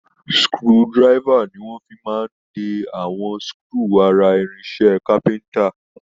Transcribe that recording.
Screwdriver ni wọ́n fi máa ń de àwọn screw ara irinṣẹ́ capenter